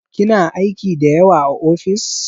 Kina aiki da yawa a ofis?